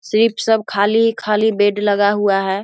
सिर्फ सब खाली-खाली बेड लगा हुआ है।